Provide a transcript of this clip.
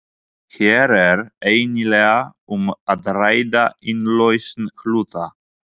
Hér er eiginlega um að ræða innlausn hluta.